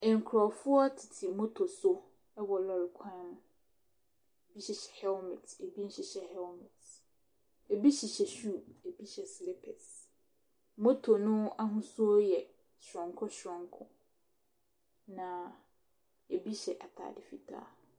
Nkurɔfoɔ tete moto so wɔ lɔre kwan ho. Ebi hyehyɛ helmet, ebi nhyehyɛ helmet, ebi hyehyɛ shoe, ebi hyɛ slippers. Moto no ahosuo yɛ soronko soronko, na ebi hyɛ atade fitaa.